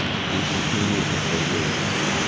и двух минут не продержишься